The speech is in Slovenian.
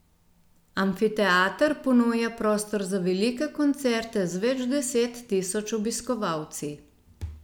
Amfiteater ponuja prostor za velike koncerte z več deset tisoč obiskovalci.